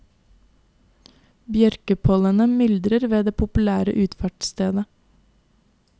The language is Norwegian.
Bjørkepollenet myldrer ved det populære utfartsstedet.